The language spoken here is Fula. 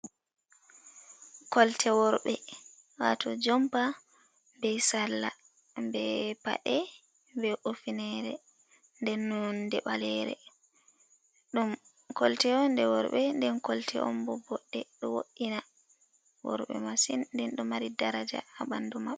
Kolte worɓe wato jomba, be sarla, be paɗe, be ufunere, nden nonde balere, ɗum kolte on je worɓe, den kolte on bo boɗɗe, ɗo wo’ina worbe masin, nden ɗo mari daraja ha bandu ma.